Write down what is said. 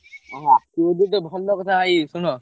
ଆଉ ଆସିବ ଯଦି ଭଲ କଥା ଭାଇ ଶୁଣ।